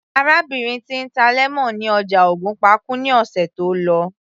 Arábìnrin tí ń ta lemon ní ọjà ògùnpa kú ní ọ̀sẹ̀ tó lọ